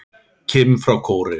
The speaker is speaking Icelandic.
Kim frá Kóreu